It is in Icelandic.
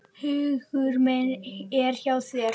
Hugur minn er hjá þér.